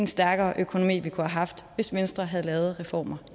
stærkere økonomi vi kunne have haft hvis venstre havde lavet reformer